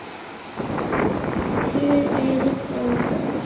Þið eruð frábær.